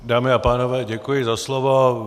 Dámy a pánové, děkuji za slovo.